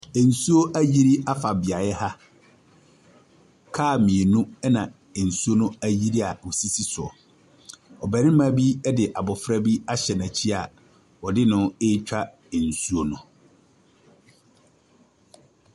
Nsuo ayiri afa beaeɛ ha. Kaa mmienu na nsuo ayiri a wɔsisi so. Ɔbarima bi de abɔfra bi ahyɛ n’ankyi ɔde ɛretwa nsuo no.